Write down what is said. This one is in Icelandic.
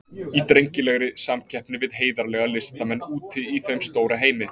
Í drengilegri samkeppni við heiðarlega listamenn úti í þeim stóra heimi.